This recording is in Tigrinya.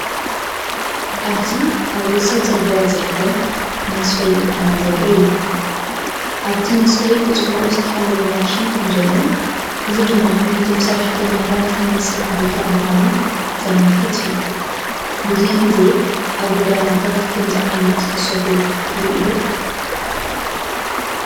ኣብዚ ኣብ ወሰን ጽርግያ ዝርከብ መስፈይ መኪና ዘርኢ እዩ። ኣብቲ መስፈይ ብጽቡቕ ዝተሓለወ ማሽን ከምዘሎን፡ እዚ ድማ ናይቶም ሰራሕተኛታት ናይ ስራሕ ቦታ ምዃኑ ዘመልክት እዩ። ብዙሕ ግዜ ኣብ ጎደናታት ከምዚ ዓይነት ዝሰፍዩ ትርኢ ዶ?